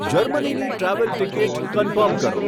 જર્મનીની travel ticket confirm કરો